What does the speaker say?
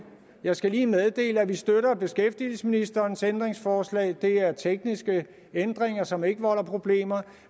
jeg skal lige meddele at vi støtter beskæftigelsesministerens ændringsforslag det er tekniske ændringer som ikke volder problemer